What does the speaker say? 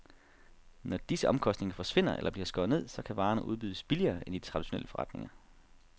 Når disse omkostninger forsvinder eller bliver skåret ned, så kan varerne udbydes billigere end i de traditionelle forretninger.